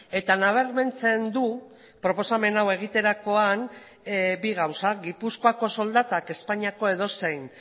eta nabarmentzen du proposamen hau egiterakoan bi gauza gipuzkoako soldatak espainiako edozein